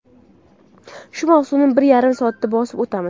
Shu masofani bir yarim soatda bosib o‘tamiz.